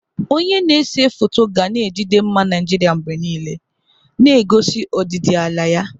Onye na-ese foto ga na-ejide mma Naijiria mgbe niile, na-egosi ọdịdị ala ya.